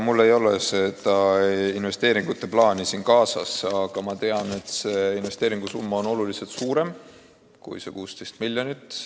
Mul ei ole investeeringute plaani siin kaasas, aga ma tean, et investeeringusumma on oluliselt suurem kui 16 miljonit.